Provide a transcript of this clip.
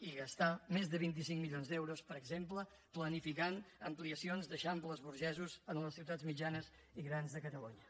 i gastar més de vint cinc milions d’euros per exemple planificant ampliacions d’eixamples burgesos en les ciutats mitjanes i grans de catalunya